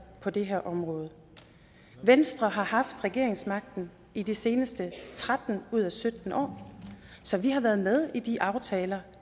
på det her område venstre har haft regeringsmagten i de seneste tretten ud af sytten år så vi har været med i de aftaler